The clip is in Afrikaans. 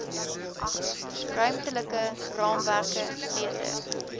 ruimtelike raamwerke beter